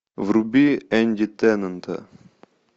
вруби энди теннанта